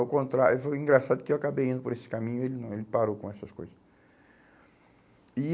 Ao contrário, foi engraçado que eu acabei indo por esse caminho, ele não, ele parou com essas coisas. E